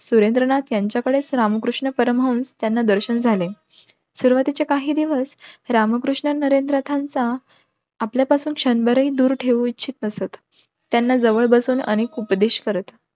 सुरेंद्रनाथ यांच्या कडेच रामकृष्ण परमहंस त्या दर्शन झाले. सुरवातीचे काहीदिवस रामकृष्ण नरेंद्र नाथांचा आपल्या पासून क्षणभरही दूर ठेऊ इच्छित नसत. त्यांना जवळ बसून अनेक उपदेश करत.